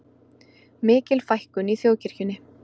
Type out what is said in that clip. Mikil fækkun í þjóðkirkjunni